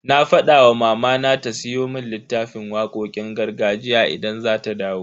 Na fada wa mamana ta siyo mun littafin waƙoƙin gargajiya idan za ta dawo.